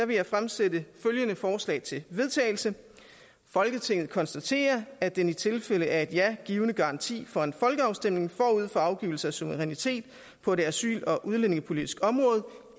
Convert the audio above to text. vil jeg fremsætte følgende forslag til vedtagelse folketinget konstaterer at den i tilfælde af et ja givne garanti for en folkeafstemning forud for afgivelse af suverænitet på det asyl og udlændingepolitiske område